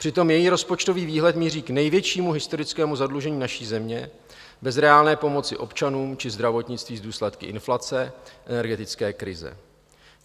Přitom její rozpočtový výhled míří k největšímu historickému zadlužení naší země bez reálné pomoci občanům či zdravotnictví s důsledky inflace, energetické krize.